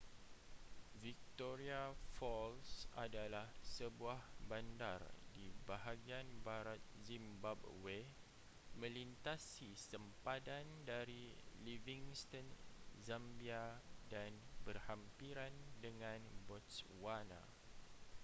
victoria falls adalah sebuah bandar di bahagian barat zimbabwe melintasi sempadan dari livingston zambia dan berhampiran dengan botswana